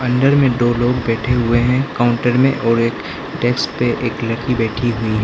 अंदर में दो लोग बैठे हुए हैं काउंटर में और एक डेस्क पे एक लड़की बैठी हुई है।